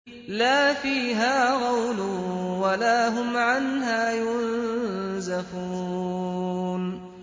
لَا فِيهَا غَوْلٌ وَلَا هُمْ عَنْهَا يُنزَفُونَ